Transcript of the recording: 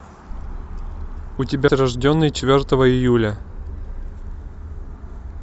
у тебя рожденный четвертого июля